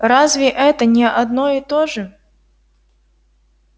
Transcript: разве это не одно и то же